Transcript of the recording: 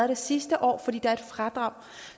det sidste år fordi der er et fradrag